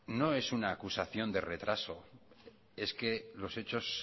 no es una acusación de retraso es que los hechos